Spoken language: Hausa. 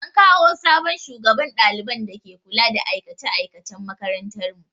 An kawo sabon shugaban ɗaliban da ke kula da aikace aikacen makarantar mu.